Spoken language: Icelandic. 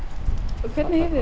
og hvernig hefur